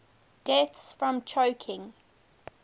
deaths from choking